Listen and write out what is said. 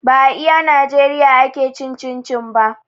Ba a iya najeriya ake cin cin-cin ba